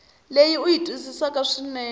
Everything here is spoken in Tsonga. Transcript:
leyi u yi twisisaka swinene